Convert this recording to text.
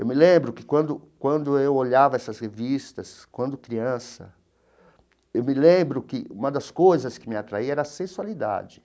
Eu me lembro que, quando quando eu olhava essas revistas, quando criança, eu me lembro que uma das coisas que me atraíam era a sensualidade.